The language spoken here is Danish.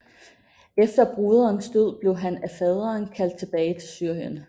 Efter broderens død blev han af faderen kaldt tilbage til Syrien